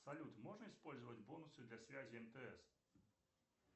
салют можно использовать бонусы для связи мтс